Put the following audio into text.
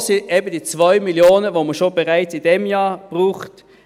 Davon sind es eben die 2 Mio. Franken, die man schon in diesem Jahr braucht.